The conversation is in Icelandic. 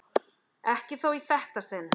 Ekki þó í þetta sinn.